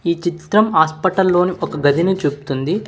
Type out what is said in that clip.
ఈ చిత్రం హాస్పిటల్ లోని ఒక గదిని చూపుతుంది.